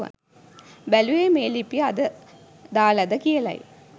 බැලුවෙ මේ ලිපිය අද දාලද කියලයි